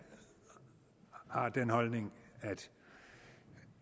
har den holdning